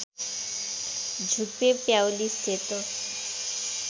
झुप्पे प्याउली सेतो